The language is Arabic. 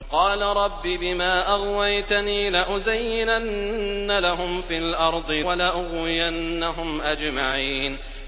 قَالَ رَبِّ بِمَا أَغْوَيْتَنِي لَأُزَيِّنَنَّ لَهُمْ فِي الْأَرْضِ وَلَأُغْوِيَنَّهُمْ أَجْمَعِينَ